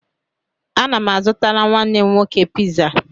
Ana m azụtara nwanne m nwoke piza